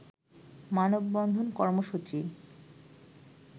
মানববন্ধন কর্মসূচি